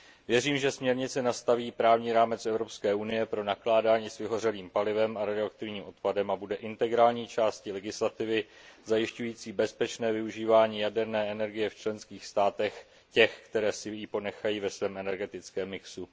Věřím, že směrnice nastaví právní rámec Evropské unie pro nakládání s vyhořelým palivem a radioaktivním odpadem a bude integrální částí legislativy, zajišťující bezpečné využívání jaderné energie v těch členských státech, které si ji ponechají ve svém energetickém mixu.